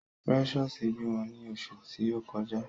Precious bímọ ni oṣù ti o kọjá.